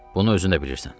Bunu özün də bilirsən.